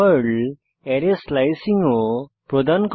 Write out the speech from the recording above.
Perl array slicing ও প্রদান করে